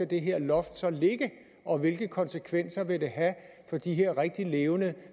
det her loft skal ligge og hvilke konsekvenser det vil have for de her rigtig levende